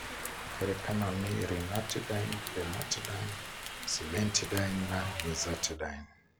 Ngerekano nĩ ranitidine, famotidine, cimetidine na nizatidine.